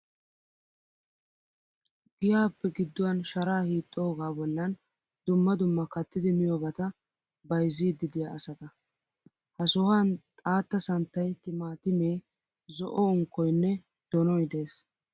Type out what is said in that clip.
Giyaappe gidduwan sharaa hiixxoogaa bollan dumma dumma kattidi miyoobata bayizziiddi diya asata. Ha sohan xaatta santtayi timaatimee zo'o unkkoyinne donoyi des.